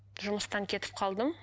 жұмыстан кетіп қалдым